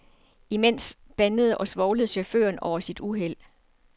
Imens bandede og svovlede chaufføren over sit uheld.